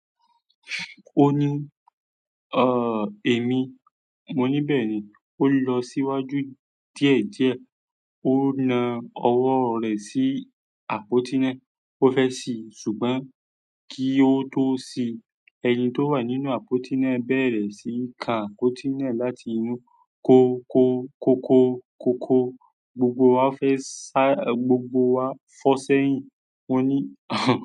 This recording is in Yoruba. Ó ní, "Ọ èmi, mo níbẹ̀ ni." Ó lọ síwájú díẹ̀ díẹ̀, ó na ọwọ́ rẹ̀ sí àpótí náà. Ó fẹ́ ṣí, ṣùgbọ́n kí ó tó ṣí, ẹni tó wà nínú àpótí náà bẹ̀rẹ̀ sí í ka àpótí náà láti inú. Ko ko ko ko ko ko. Gbogbo wa fẹ́ sá, gbogbo wa fọ́ sẹ́yìn. Mo ní,